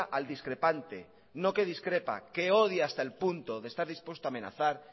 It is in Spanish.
al discrepante no que discrepa que odia hasta el punto de estar dispuesto a amenazar